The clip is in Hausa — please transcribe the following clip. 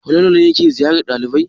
Falalu ne yake ziyarar ɗalibai?